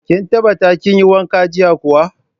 Kin tabbata kin yi wanka jiya kuwa.